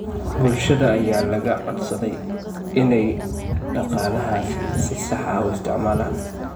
Bulshada ayaa laga codsaday inay dhaqaalahaasi si sax ah u isticmaalaan.